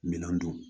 Minɛn don